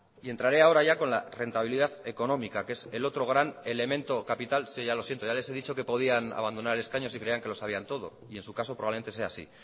y entraré ahora ya con la rentabilidad económica que es el otro gran elemento capital si ya lo siento ya les he dicho que podían abandonar escaño si creían que lo sabían todo y en su caso probablemente sea así